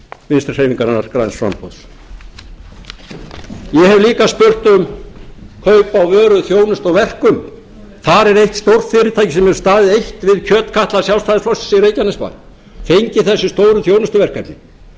vinstri hreyfingarinnar græns framboðs ég hef líka spurt um kaup á vöru þjónustu og verkum þar er eitt stórt fyrirtæki sem hefur staðið eitt við kjötkatla sjálfstæðisflokksins í reykjanesbær fengið þessi stóru þjónustuverkefni og það